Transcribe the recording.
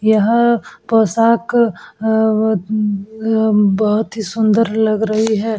यह पोशाक अ ब अअअ अम अ बहोत ही सुंदर लग रही है।